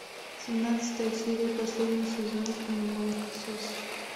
семнадцатая серия последний сезон кино молокососы